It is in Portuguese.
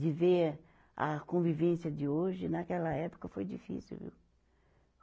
de ver a convivência de hoje, naquela época, foi difícil, viu?